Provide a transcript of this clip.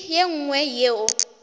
le ye nngwe yeo e